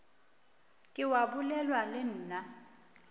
ke wa bolela le nna